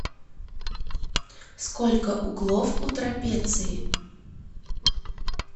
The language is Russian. сколько углов у трапеции